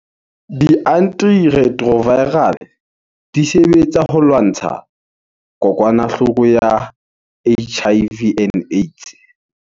Di-antiretroviral-e, di sebetsa ho lwantsha , kokwanahloko ya H_I_V and Aids.